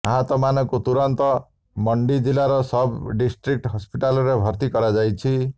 ଆହତମାନଙ୍କୁ ତୁରନ୍ତ ମଣ୍ଡି ଜିଲ୍ଲାର ସବ୍ ଡିଷ୍ଟ୍ରିକ୍ଟ ହସ୍ପିଟାଲରେ ଭର୍ତ୍ତି କରାଯାଇଛି